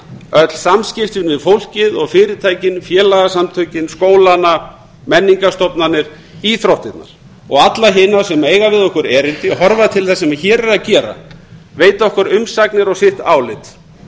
öll samskiptin við fólkið og fyrirtækin félagasamtökin skólana menningarstofnanir íþróttirnar og alla hina sem eiga við okkur erindi og horfa til þess sem hér er að gerast veita okkur umsagnir og sitt álit